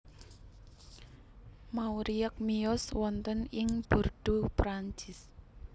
Mauriac miyos wonten ing Bordeaux Prancis